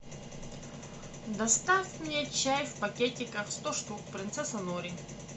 доставь мне чай в пакетиках сто штук принцесса нури